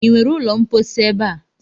Ị nwere ụlọ mposi ebe a?